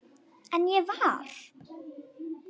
En ég var.